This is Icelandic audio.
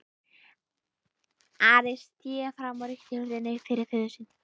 Ari sté fram og rykkti hurðinni upp fyrir föður sinn.